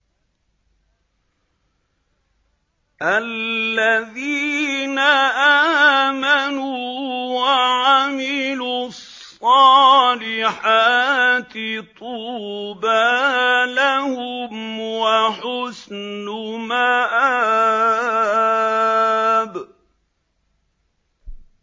الَّذِينَ آمَنُوا وَعَمِلُوا الصَّالِحَاتِ طُوبَىٰ لَهُمْ وَحُسْنُ مَآبٍ